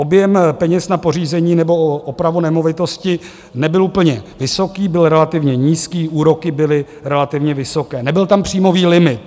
Objem peněz na pořízení nebo opravu nemovitosti nebyl úplně vysoký, byl relativně nízký, úroky byly relativně vysoké, nebyl tam příjmový limit.